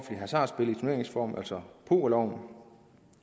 hasardspil i turneringsform altså pokerloven